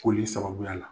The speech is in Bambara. Koli sababuya la